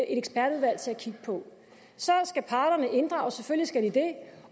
ekspertudvalg til at kigge på så skal parterne inddrages selvfølgelig skal de det